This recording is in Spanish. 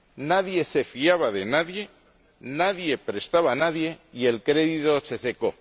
Nadie se fiaba de nadie, nadie prestaba a nadie y el crédito se secó.